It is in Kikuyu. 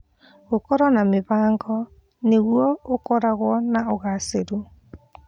Gũkorwo na mĩbango nĩguo ũkorwo na ũgacĩru.